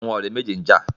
Àwọn ọ̀rẹ́ méjì n jà